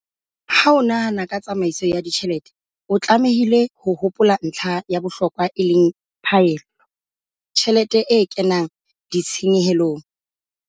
Ha o nahana ka tsamaiso ya ditjhelete, o tlamehile ho hopola ntlha ya bohlokwa e leng Phaello. Tjhelete e kenang Ditshenyehelo.